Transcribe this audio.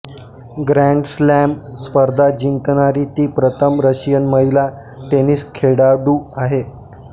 grand slam स्पर्धा जिंकणारी ती प्रथम रशियन महिला टेनिस खेळाडू आहे